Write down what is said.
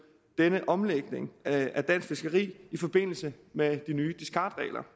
denne omlægning af dansk fiskeri i forbindelse med de nye discardregler